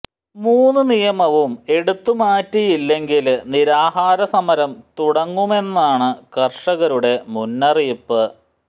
മൂന്ന് നിയമവും എടുത്തു മാറ്റിയില്ലെങ്കില് നിരാഹാര സമരം തുടങ്ങുമെന്നാണ് കര്ഷകരുടെ മുന്നറിയിപ്പ്